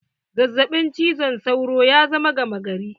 Zazzaɓin cizon sauro ya zama gama gari.